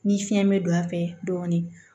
Ni fiɲɛ be don a fɛ dɔɔnin